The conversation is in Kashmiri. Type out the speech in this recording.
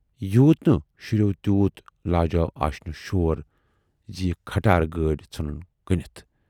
یوٗت نہٕ شُرٮ۪و تیوٗت لاجاو آشنہِ شور زِ یہِ کھٹارٕ گٲڑۍ ژھُنتن کٕنِتھ۔